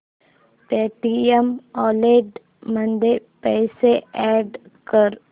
Paytm wallet मध्ये पैसे add कर